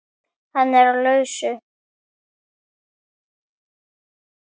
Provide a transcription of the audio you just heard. Hann er á lausu.